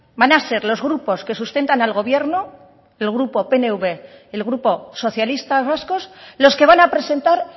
van a ser los grupos que sustentan al gobierno el grupo pnv el grupo socialistas vascos los que van a presentar